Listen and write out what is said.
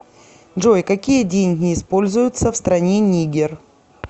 джой какие деньги используются в стране нигер